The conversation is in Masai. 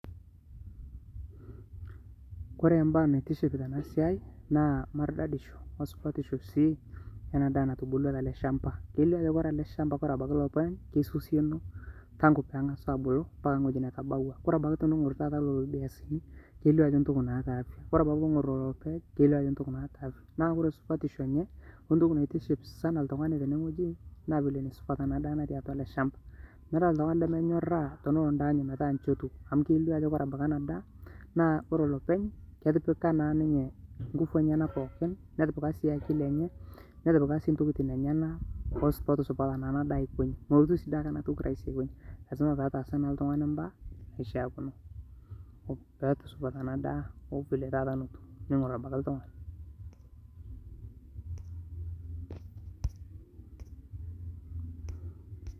kore mbaa naitiship tanaa siai naa mardadishoo oo supatishoo sii yanaa daa natubulua talee shampaa. keilio ajoo kore alee shampaa kore abakii lopeny keisosionoo tangu pengasuu abuluu mpakaa nghojii natabawaa kore abakii tunungur lolo biasinii keilio ajoo ntokii naata afyaa kore abakii tunungur lolo payeg naa keiio ajoo ntokii naata afyaa naa kore supatishoo enyee oo ntokii naitiship ltunganii sanaa teneee nghojii naa vile naisupat anaa daa natii atua alee shamba meataa ltunganii lemenyoraa tonoloo ndaa enyee metaa nchii etuu amu keilio abakii ajoo kore anaa daa naa kore lopeny ketipikaa naa ninyee nguvuu enyanaa pooki netipikaa sii akilii enyee, netipikaa sii ntokitin enyanaa pootusupata anaa daa enye aikoinjii. molotuu dei siake anaa tokii rahisi aikonyii lazima peetaasa ltunganii mbaa naishiakinoo pootusupataa anaa daa oo vile taata notuu tonongor abaki ltunganii